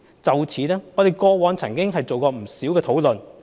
就此，我們過往曾進行不少討論。